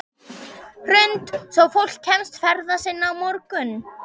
Hrund: Svo fólk kemst ferða sinna á morgun?